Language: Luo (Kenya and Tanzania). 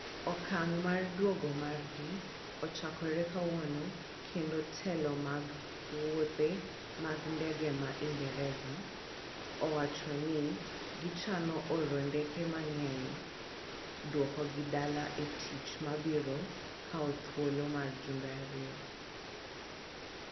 Okang' mar duogo margi ochakore kawuono kendo telo mag wuothe mag ndege ma ingresa, owacho ni gichano oro ndeke mang'eny duoko gi dala e tich ma biro kawo thuolo mar jumbe ariyo.